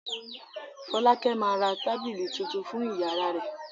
Fọ́lákẹ́ máa ra tábìlì tuntun fún ìyàrá rẹ̀.